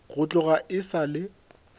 go tloga e sa le